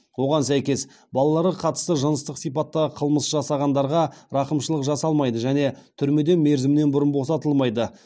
оған сәйкес балаларға қатысты жыныстық сипаттағы қылмыс жасағандарға рақымшылық жасалмайды және түрмеден мерзімінен бұрын босатылмайды